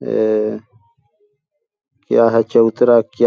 ऐ क्या है ? चबूतरा क्या ?--